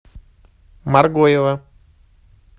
моргоева